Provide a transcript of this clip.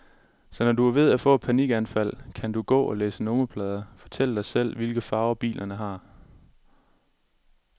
Så når du er ved at få et panikanfald, kan du gå og læse nummerplader, fortælle dig selv, hvilke farver bilerne har.